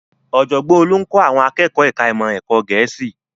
Ọ̀jọ̀gbọ́n Olú ń kọ́ àwọn akẹ́kọ̀ọ́ ẹ̀ka ìmọ̀ ẹ̀kọ́ Gẹ̀ẹ́sì